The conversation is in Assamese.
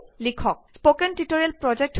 স্পোকেন টিউটোৰিয়েল ব্যৱহাৰ কৰি কাম খিনি কৰক